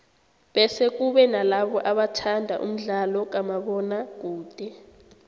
bese kube nalabo abathanda umdlalo kamabona kude